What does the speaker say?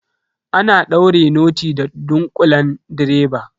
Ana daure noti da ɗunkulen direba.